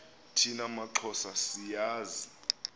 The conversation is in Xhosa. thina maxhosa siyazi